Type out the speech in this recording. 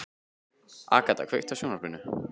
Agata, kveiktu á sjónvarpinu.